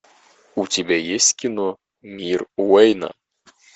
у тебя есть кино мир уэйна